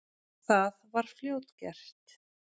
Það var fljótgert.